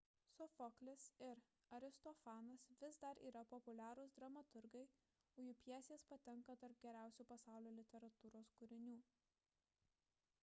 sofoklis ir aristofanas vis dar yra populiarūs dramaturgai o jų pjesės patenka tarp geriausių pasaulio literatūros kūrinių